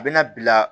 A bɛna bila